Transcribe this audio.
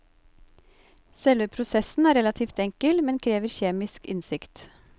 Selve prosessen er relativt enkel, men krever kjemisk innsikt.